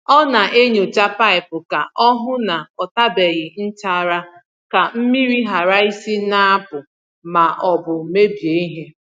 Ọ na-enyòcha paịpụ ka o hụ ná ọ tabeghi nchara ka mmiri ghara isi na-apụ̀ ma ọ bụ mebie ihe.